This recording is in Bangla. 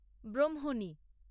ব্রহ্মণী